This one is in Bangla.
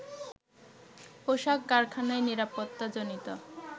পোশাক কারখানায় নিরাপত্তাজনিত